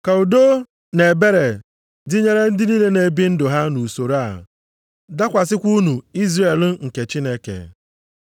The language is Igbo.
Ka udo na ebere dịnyere ndị niile na-ebi ndụ ha nʼusoro a, dakwasịkwa unu Izrel nke Chineke.